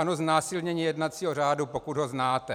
Ano, znásilnění jednacího řádu, pokud ho znáte.